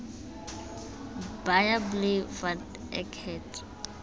baie bly want ek het